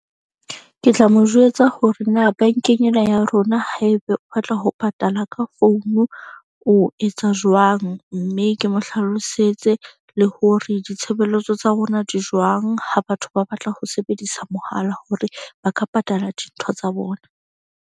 Ke tla mo jwetsa hore na bank-eng ena ya rona, haebe o batla ho patala ka founu o etsa jwang. Mme ke mo hlalosetse le hore ditshebeletso tsa rona di jwang. Ha batho ba batla ho sebedisa mohala hore ba ka patala dintho tsa bona.